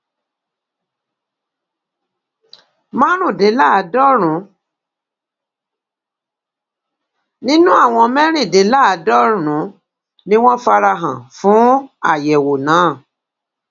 márùndínláàádọrùn nínú àwọn mẹrìndínláàádọrùn ni wọn fara hàn fún àyẹwò náà